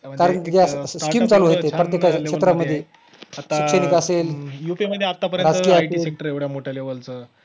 कारण ज्या scheme चालू आहेत ते प्रत्येकाच्या क्षेत्रामध्ये शैक्षणिक असेल, शासकीय असेल